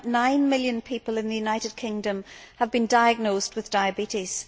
2.9 million people in the United Kingdom have been diagnosed with diabetes.